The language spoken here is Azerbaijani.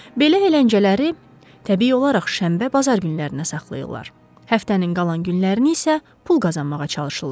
Belə əyləncələri təbii olaraq şənbə bazar günlərinə saxlayırlar, həftənin qalan günlərini isə pul qazanmağa çalışırlar.